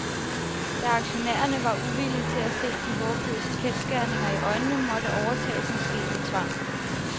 Da aktionærerne var uvillige til at se de håbløse kendsgerninger i øjnene, måtte overtagelsen ske ved tvang.